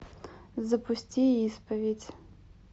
запусти исповедь